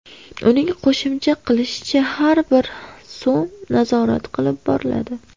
Uning qo‘shimcha qilishicha, har bir so‘m nazorat qilib boriladi.